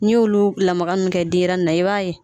N'i y'olu lamaga nun kɛ denɲɛrɛnin na i b'a ye.